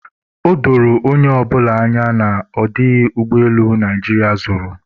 o doro onye ọbụla anya na ọ dịghị ụgbọelu Naijiria zụrụ